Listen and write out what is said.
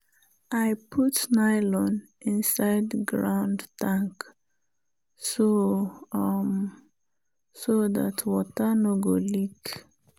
i put nylon inside ground tank so um so dat water no go leak.